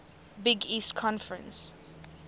big east conference